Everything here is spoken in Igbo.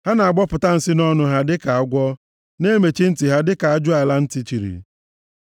Ha na-agbọpụta nsi nʼọnụ ha dịka agwọ, na-emechi ntị ha dịka ajụala ntị chiri,